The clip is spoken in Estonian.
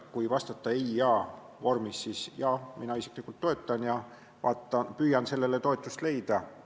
Kui vastata ei või jaa, siis ütlen, et mina isiklikult toetan seda mõtet ja püüan sellele toetust leida.